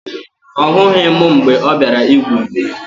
Ọ hụghị m mgbe ọ bịara igwu mmiri